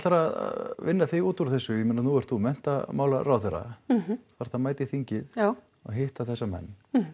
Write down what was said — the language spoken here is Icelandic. að vinna þig út úr þessu nú ert þú menntamálaráðherra þarft að mæta í þingið og hitta þessa menn